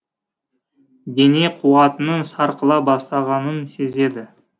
дене қуатының сарқыла бастағанын сезеді